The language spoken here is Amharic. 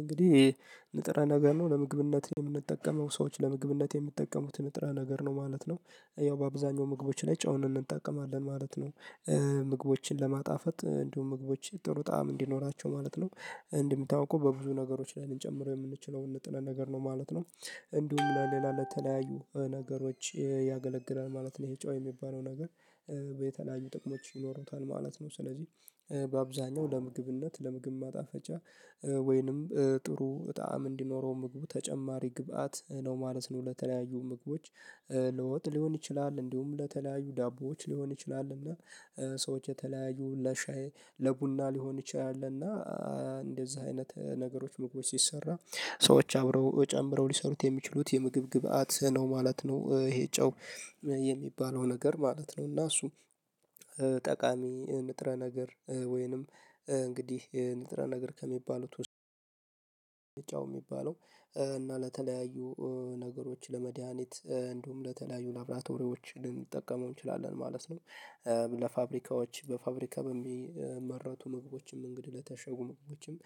እንግዲህ ንጥረ ነገር ነው ለምግብነት የምንጠቀመው። ሰዎች ለምግብነት የሚጠቀሙትን ንጥረ ነገር ነው ማለት ነው። ያው በአብዛኛው ምግቦች ላይ ጨውንን እንጠቀማለን ማለት ነው። ምግቦችን ለማጣፈጥ እንዲሁም ምግቦችን ጥሩ ጣዕም እንዲኖራቸው ማለት ነው። እንደሚታወቀው በብዙ ነገሮች ላይ ልንጨምረው የምንችለው ንጥለ ነገር ነው ማለት ነው። እንዲሁም፣ ለሌላ ለተለያዩ ነገሮች ያገለግለል ማለት ነው፣ ይሄ ጮህ የሚባለው ነገር። የተለያዩ ጥቅሞች ይኖሩታል ማለት ነው። ስለዚህ በአብዛኛው ለምግብነት፣ ለምግብ ማጣፈጫ፣ ወይንም ጥሩ ጣዕም እንዲኖረው ምግቡ ተጨማሪ ግብአት ነው ማለት ነው ለተለያዩ ምግቦች። ልወጥ ሊሆን ይችላል እንዲሁም ለተለያዩ ዳቦዎች ሊሆን ይችላል እና ሰዎች የተለያዩ፣ ለሻይ፣ ለቡና ሊሆን ይችላል እና እንደዛ አይነት ነገሮች ምግቦች ሲሰራ ሰዎች አብረው ጨምረው ሊሰሩት የሚችሉት የምግብ ግብአት ነው ማለት ነው ይሄ ጨው የሚባለው ነገር ማለት ነው። እና እሱ ጠቃሚ ንጥረ ነገር ወይንም እንግዲህ ንጥረ ነገር ከሚባሉት ውስጥ ጨው የሚባለው። እና ለተለያዩ ነገሮች፣ ለመድሃኒት እንዲሁም፣ ለተለያዩ ላብራቶሪዎች ልንጠቀመው እንችላለን ማለት ነው። ለፋብሪካዎች፣ በፋብሪካ በሚመረቱ ምግቦችም እንግዲህ ለታሸጉም ምግቦችም